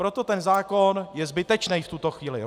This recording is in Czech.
Proto ten zákon je zbytečný v tuto chvíli.